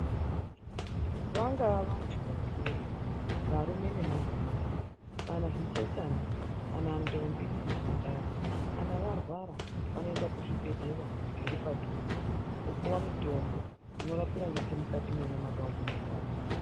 Vangava vantu vakuru, varume nemadzimayi kana zvichechana kana ntombi nembandara kana varwara vanoenda kuzvibhedhlera zviripadhuze vopuwa mitombo inorapira ngechemukati menyama dzavo dzinorwadza.